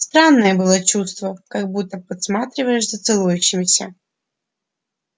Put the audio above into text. странное было чувство как будто подсматриваешь за целующимися